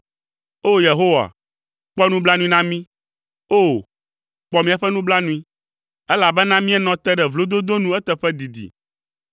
O! Yehowa, kpɔ nublanui na mí, O! Kpɔ míaƒe nublanui, elabena míenɔ te ɖe vlododo nu eteƒe didi.